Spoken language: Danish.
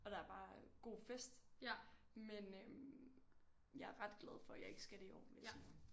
Og der er bare god fest men øh jeg er ret glad for jeg ikke skal det i år vil jeg sige